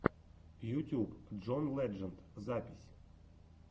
ютьюб джон ледженд запись